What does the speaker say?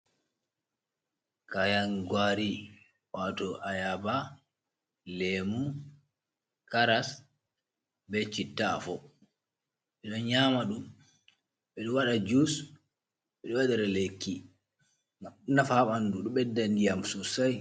Kayan guari wato ayaba, lemu, karas, be citta’afo, ɓe ɗon nyama ɗum, ɓeɗo waɗa jus, ɓeɗo wadare leiki nafa ɓandu, ɗo ɓedda ndiyam sossai.